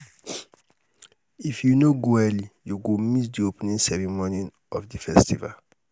if you no go early you go miss di opening ceremony of di festival.